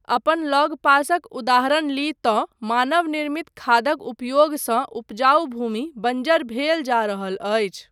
अपन लगपासक उदाहरण ली तँ मानव निर्मित खादक उपयोगसँ उपजाउ भूमि बञ्जर भेल जा रहल अछि।